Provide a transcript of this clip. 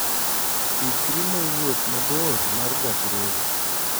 Ikri ne wuoth mabor mar gach reru.